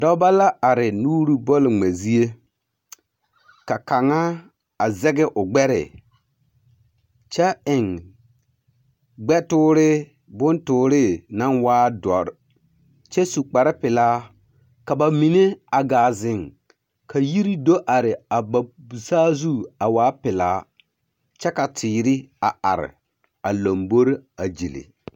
Dɔbɔ la are nuuri bɔl-ŋmɛ zie. Ka kaŋa, a zɛge o gbɛre, kyɛ eŋ gbɛtoore ka bontooree naŋ waa dɔr kyɛ su kparepelaa ka ba mine a gaa zeŋ ka yiri do are a ba saazu a waa pelaa, kyɛ ka teere a are a lombori a gyili.